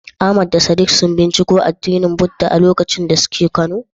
Ahmad da Sadiq sun binciko addinin Buddah a lokacin da suke kano?